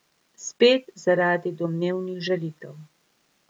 Spet zaradi domnevnih žalitev.